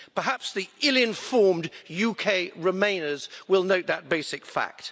Perhaps the ill-informed UK Remainers will note that basic fact.